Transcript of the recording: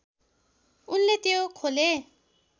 उनले त्यो खोले